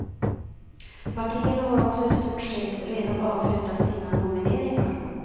Partierna har också i stort sett redan avslutat sina nomineringar.